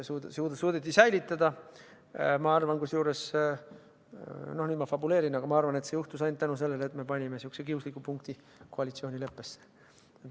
Kusjuures ma arvan – no nüüd ma fabuleerin –, et see juhtus ainult tänu sellele, et me sihukese kiusliku punkti koalitsioonileppesse panime.